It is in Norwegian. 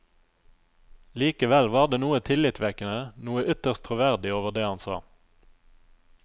Likevel var det noe tillitvekkende, noe ytterst troverdig over det han sa.